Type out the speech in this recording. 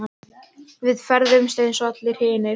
Við ferðumst eins og allir hinir.